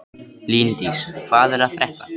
Líndís, hvað er að frétta?